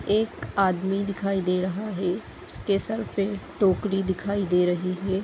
एक आदमी दिखाई दे रहा है उसके सर पे टोकरी दिखाई दे रही है।